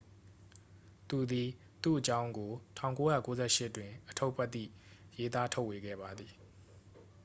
သူသည် သူ့အကြောင်းကို 1998 တွင် အတ္ထုပ္တိရေးသားထုတ်ဝေခဲ့ပါသည်